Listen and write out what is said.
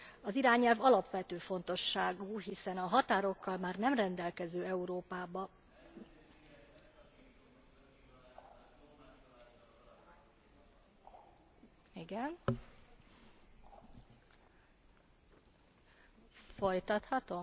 Az irányelv alapvető fontosságú, hiszen a